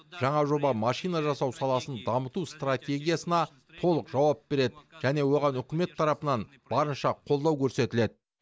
жаңа жоба машина жасау саласын дамыту стратегиясына толық жауап береді және оған үкімет тарапынан барынша қолдау көрсетіледі